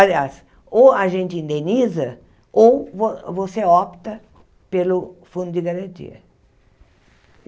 Aliás, ou a gente indeniza ou vo você opta pelo fundo de garantia.